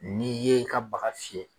Ni ye i ka baga fiyɛ.